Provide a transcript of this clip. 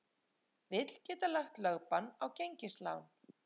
Vill geta lagt lögbann á gengislán